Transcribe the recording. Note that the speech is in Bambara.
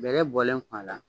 Bɛlɛ bɔlen kɔ a la